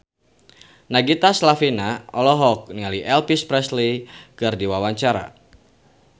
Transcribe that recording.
Nagita Slavina olohok ningali Elvis Presley keur diwawancara